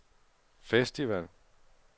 festival